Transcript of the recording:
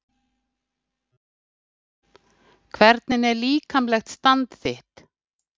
Hvernig er líkamlegt stand þitt?